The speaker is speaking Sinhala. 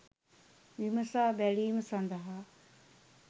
විමසා බැලීම සඳහා